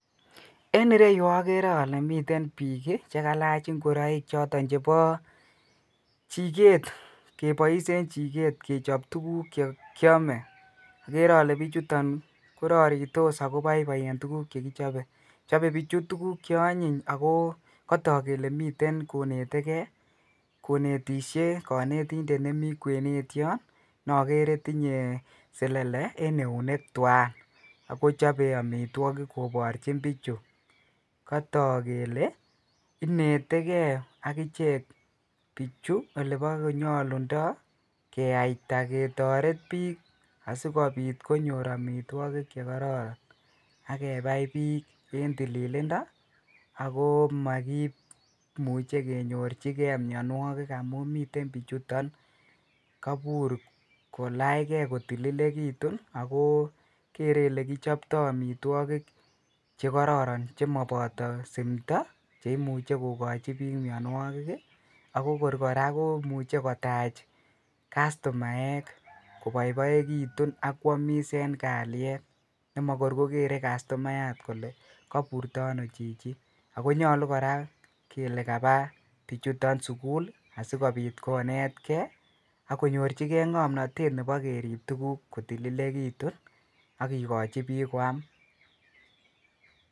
En ireyu okere olee miten biik chekalach ing'oroik choton chebo chiket, kebois en chiket kechob tukuk chekiome, okere olee bichuton kororitos ak ko boiboi en tukuk chekichobe, chobe bichu tukuk cheonyiny ak ko kotok kelee miten konetekee konetishe konetindet nemii kwenet yoon nokere tinye selele en eunek twaan ak kochobe amitwokik koborchin bichu, kotok kelee inetekee akichek bichu eleboko nyolundo keyaita ketoret biik asikobit konyor amitwokik chekororon ak kebai biik en tililindo ak ko mokimuche kenyorchike mionwokik amun miten bichuton kobur kolachke ko tililekitun ak ko keree elekichopto omitwokik chekororon ak ko chemoboto simto cheimuche kokochi biik mionwokik ak ko kora ko muche kotach customaek koboiboekitun ak kwomis en kaliet nemokor ko keree customayat kolee koburto onoo chichi, ak ko nyolu kora kelee kabaa bichuton sukul asikobit konetke akonyorchike ng'omnotet nebo kerib tukuk kotililekitun ak kikochi biik kwam.